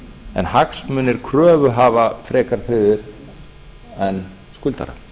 en hagsmunir kröfuhafa frekar tryggðir en skuldara